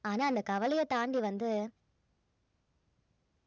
ஆனா அந்த கவலையை தாண்டி வந்து